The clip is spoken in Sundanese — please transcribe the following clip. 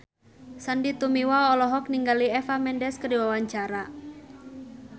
Sandy Tumiwa olohok ningali Eva Mendes keur diwawancara